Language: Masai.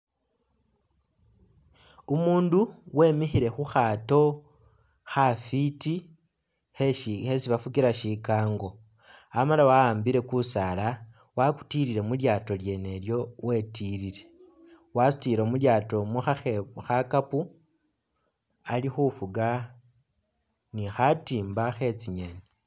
Umundu wemikhile khukhaato khafwiti kheshi khesi bafukila shikango amala wawambile kusaala wakutilile mulyaato lyene ilyo wetilile wasutile mulyaato umwo khakhe... khakapu ali fuga ni khatimba khetsi ngeni